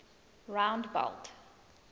rondebult